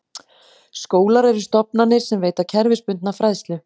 Skólar eru stofnanir sem veita kerfisbundna fræðslu.